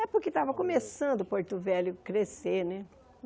É porque estava começando Porto Velho crescer né.